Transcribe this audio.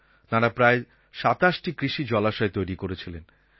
তাঁরা প্রায় ২৭টি কৃষিজলাশয় তৈরি করেছিলেন